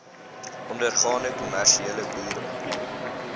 ondergaande kommersiële boere